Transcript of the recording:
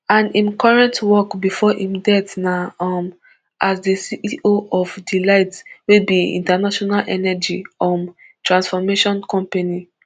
and im current work before im death na um as di ceo for dlight wey be international energy um transformation company